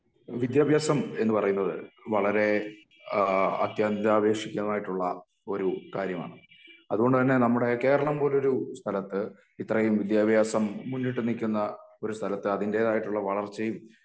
വിദ്യഭ്യാസം എന്ന് പറയുന്നത് വളരേ ഏഹ് അത്യന്തേതാവേശികമായിട്ടുള്ള ഒരു കാര്യമാണ് അതുകൊണ്ടു തന്നെ നമ്മുടെ കേരളം പോലൊരു സ്ഥലത്ത് ഇത്രെയും വിദ്യാഭ്യാസം മുന്നിട്ട് നിക്കുന്ന ഒരു സ്ഥലത്ത് അതിൻ്റെതായിട്ടുള്ള വളർച്ചയും